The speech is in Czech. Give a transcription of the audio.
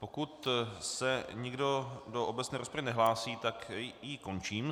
Pokud se nikdo do obecné rozpravy nehlásí, tak ji končím.